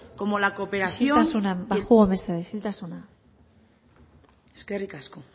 como la cooperación isiltasuna mesedez baxuago isiltasuna mesedez eskerrik asko